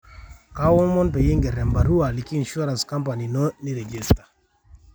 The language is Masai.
kaomon peyie iger e barua aliki insurance company ino niregister